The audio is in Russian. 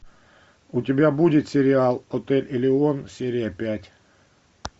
у тебя будет сериал отель элеон серия пять